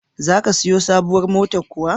Za ka siyo sabuwar motar kuwa?